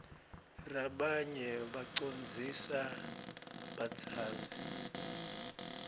rabanye bacondzlsa badzazi